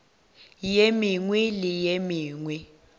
ye mengwe le ye mengwe